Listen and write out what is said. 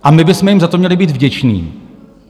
A my bychom jim za to měli být vděční.